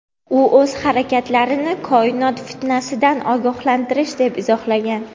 U o‘z harakatlarini "koinot fitnasi"dan ogohlantirish deb izohlagan.